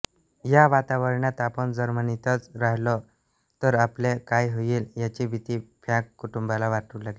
या वातावरणात आपण जर्मनीतच राहिलो तर आपले काय होईल याची भिती फ्रॅंक कुटुंबाला वाटू लागली